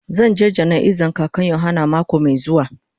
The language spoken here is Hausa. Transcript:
Zan je jana'iza kakan yohana mako mai zuwa.